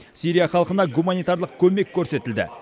сирия халқына гуманитарлық көмек көрсетілді